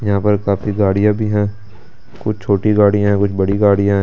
यहां पर काफी गाड़ियां भी हैं कुछ छोटी गाड़ियां हैं कुछ बड़ी गाड़ियां हैं।